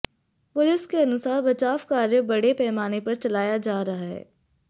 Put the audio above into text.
police के अनुसार बचाव कार्य बड़े पैमाने पर चलाया जा रहा है